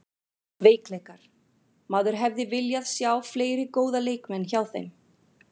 Veikleikar: Maður hefði viljað sjá fleiri góða leikmenn hjá þeim.